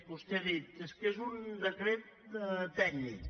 vostè ha dit és que és un decret tècnic